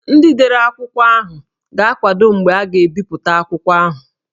Ndị dere akwụkwọ ahụ ga-akwado mgbe a ga-ebipụta akwụkwọ ha